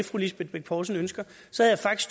fru lisbeth bech poulsen ønsker så jeg